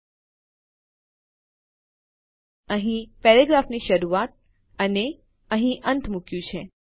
આપણે અહીં પ્રેરેગ્રાફની શરૂઆત અને અહીં અંત મુક્યું છે